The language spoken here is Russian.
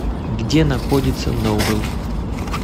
где находится ноубэл